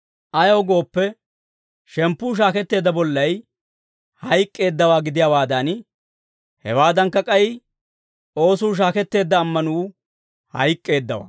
Ayaw gooppe, shemppuu shaaketteedda bollay hayk'k'eeddawaa gidiyaawaadan, hewaadankka k'ay oosuu shaaketteedda ammanuu hayk'k'eeddawaa.